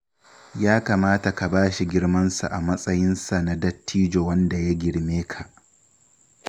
Ya kamata ka ba shi girmansa a matsayinsa na dattijo wanda ya girme ka